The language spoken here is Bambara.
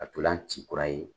Ka ntolan ci kura ye.